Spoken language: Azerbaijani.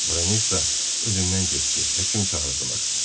Branesa özündən getdi, həkim çağırdılar.